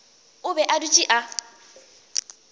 o be a dutše a